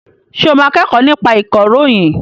Ṣé o máa kẹ́kọ̀ọ́ nípa ìkọ̀ròyìn?